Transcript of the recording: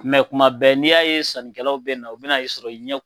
Kumɛ mɛ kuma bɛɛ n'i y'a ye sannikɛlaw be na u bena e sɔrɔ i ɲɛ